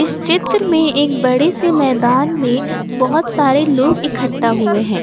चित्र में एक बड़े से मैदान में बहुत सारे लोग इकट्ठा हुए हैं।